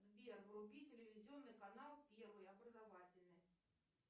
сбер вруби телевизионный канал первый образовательный